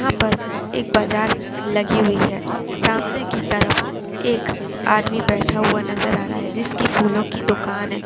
यहाँ पर एक बाजार लगी हुई है सामने की तरफ एक आदमी बैठा हुआ नज़र आ रहा है जिसकी फूलो की दुकान है।